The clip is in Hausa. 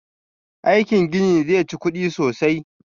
Aikin ginin zai chi kuɗi sosai